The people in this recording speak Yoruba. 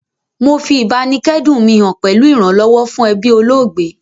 Mo fi ìbáníkẹ́dùn mi han pẹ̀lu ìrànlọ́wọ́ fún ebí olóògbé